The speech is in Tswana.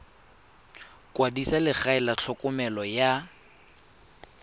kwadisa legae la tlhokomelo ya